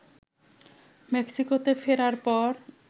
মেক্সিকোতে ফেরার পর